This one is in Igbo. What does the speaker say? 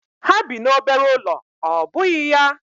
Ha bi n'obere ụlọ ọ́ bụghị ya?